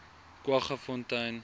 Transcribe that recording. kwaggafontein